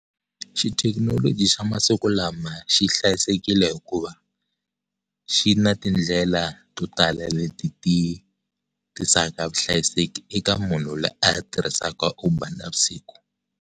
Xithekinoloji xa masiku lama xi hlayisekile hikuva xi na tindlela to tala leti ti tisaka vuhlayiseki eka munhu loyi a tirhisaka Uber navusiku.